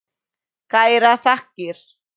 Kærar þakkir